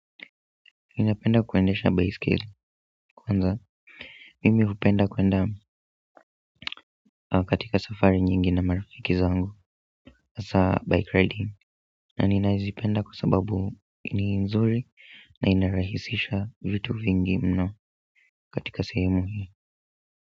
Ninapenda kuendesha baiskeli kwanza mimi hupenda kuenda katika safari nyingi na marafiki zangu hasa by Friday na nazipenda kwa sababu ni nzuri na inarahisisha vitu vingi mno katika sehemu hii.